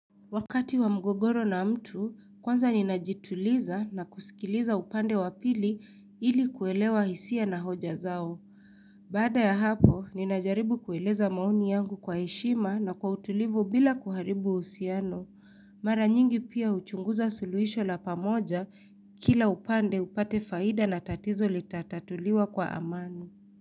Wakati wa mgogoro na mtu, kwanza ninajituliza na kusikiliza upande wa pili ili kuelewa hisia na hoja zao. Baada ya hapo, ninajaribu kueleza maoni yangu kwa heshima na kwa utulivu bila kuharibu uhusiano. Mara nyingi pia huchunguza suluhisho la pamoja, kila upande upate faida na tatizo litatatuliwa kwa amani.